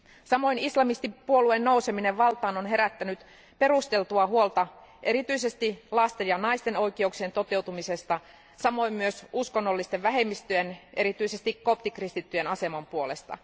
Samoin islamistipuolueen nouseminen valtaan on herättänyt perusteltua huolta erityisesti lasten ja naisten oikeuksien toteutumisesta, samoin myös uskonnollisten vähemmistöjen, erityisesti koptikristittyjen, aseman puolesta.